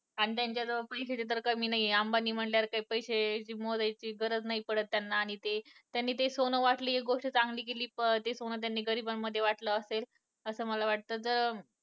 आणि त्यांच्या जवळ पैशांची तर कमी नाही अंबानी म्हंटल्यावर काही पैशे मोजायची गरज नाही पडत त्यांना त्यांनी ते सोनं वाटलं हे एक गोष्ट चांगली केली पण ते सोनं त्यांनी गरिबांत वाटलं असेल असतं असं मला वाटतं जर